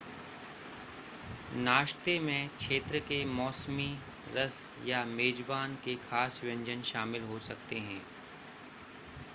नाश्ते में क्षेत्र के मौसमी रस या मेज़बान के ख़ास व्यंजन शामिल हो सकते हैं